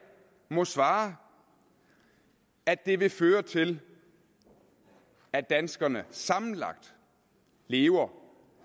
må svare at det vil føre til at danskerne sammenlagt lever